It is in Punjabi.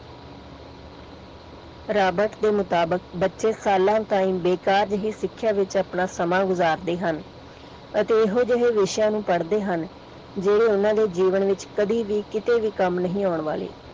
ਰਾਬਰਟ ਦੇ ਅਨੁਸਾਰ ਬੱਚੇ ਸਾਲਾਂ ਤੱਕ ਬੇਕਾਰ ਹੀ ਸਿੱਖਿਆ ਵਿੱਚ ਆਪਣਾ ਸਮਾਂ ਗੁਜ਼ਾਰਦੇ ਹਨ ਅਤੇ ਇਹੋ ਜਿਹੇ ਵਿਸ਼ਿਆਂ ਨੂੰ ਪੜਦੇ ਹਨ ਜਿਹੜੇ ਓਹਨਾ ਦੇ ਜੀਵਨ ਵਿੱਚ ਕਦੀ ਵੀ ਕੀਤੇ ਵੀ ਕੰਮ ਨਹੀਂ ਆਉਣ ਵਾਲੇ।